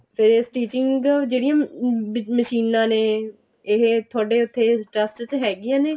ਤੇ stitching ਜਿਹੜੀਆਂ ਮਸ਼ੀਨਾਂ ਨੇ ਇਹ ਤੁਹਾਡੇ ਉੱਥੇ trust ਚ ਹੈਗੀਆਂ ਨੇ